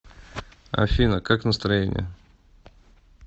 афина как настроение